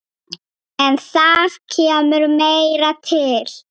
En það kemur meira til.